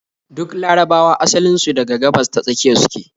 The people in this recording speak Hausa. Duk larabawa asalin su daga Gabas-ta-Tsakiya su ke